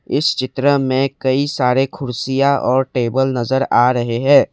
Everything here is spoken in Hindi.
इस चित्र में काई सारे कुर्सियां और टेबल नजर आ रहे है।